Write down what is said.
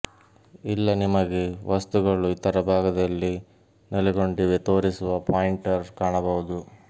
ಇಲ್ಲ ನಿಮಗೆ ವಸ್ತುಗಳು ಇತರ ಭಾಗದಲ್ಲಿ ನೆಲೆಗೊಂಡಿವೆ ತೋರಿಸುವ ಪಾಯಿಂಟರ್ ಕಾಣಬಹುದು